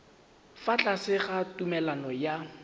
fa tlase ga tumalano ya